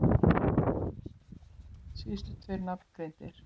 Síðustu tveir nafngreindir